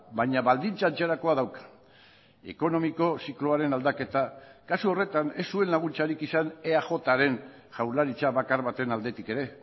baina baldintza antzerakoa dauka ekonomiko zikloaren aldaketa kasu horretan ez zuen laguntzarik izan eajren jaurlaritza bakar baten aldetik ere